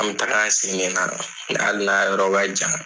An bɛ taga sen ne la hali yɔrɔ ka jan.